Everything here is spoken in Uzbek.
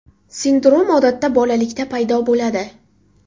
Sindrom odatda bolalikda paydo bo‘ladi.